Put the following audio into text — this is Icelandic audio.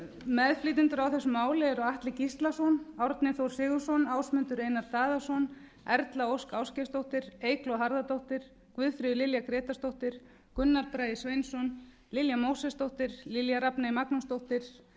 upplýsingafrelsis meðflytjendur að þessu máli eru atli gíslason árni þór sigurðsson ásmundur einar daðason erla ósk ásgeirsdóttir eygló harðardóttir guðfríður lilja grétarsdóttir gunnar bragi sveinsson lilja mósesdóttir lilja rafney magnúsdóttir